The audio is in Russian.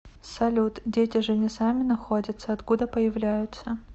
салют дети же не сами находятся откуда появляются